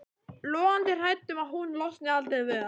Logandi hrædd um að hún losni aldrei við hann.